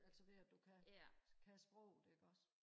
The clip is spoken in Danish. altså ved at du kan kan sproget ikke også